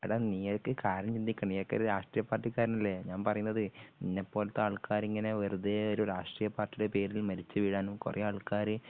എടാ നീയൊക്കെ കാര്യം ചിന്തിക്കണം നീയൊക്കെ ഒരു രാഷ്ട്രീയ പാർട്ടികാരനല്ലേ ഞാൻ പറയുന്നതേ നിന്നെപ്പോലത്തെ ആൾക്കാരിങ്ങനെ വെറുതെയൊരു രാഷ്ട്രീയ പാർട്ടിയുടെ പേരിൽ മരിച്ചു വീഴാനും കുറെ ആൾക്കാര്